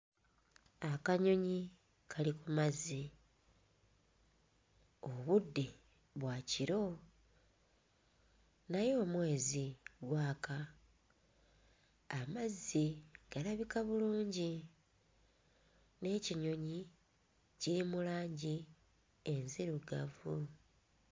Akanyonyi kali ku mazzi, obudde bwa kiro naye omwezi gwaka, amazzi galabika bulungi n'ekinyonyi kiri mu langi enzirugavu.